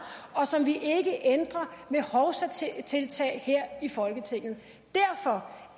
og som vi ikke ændrer ved hovsatiltag her i folketinget derfor